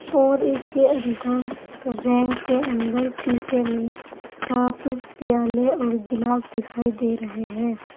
और इसके अंदर रैंक के अंदर शीशे में कप प्याले और गिलास दिखाई दे रहे हैं।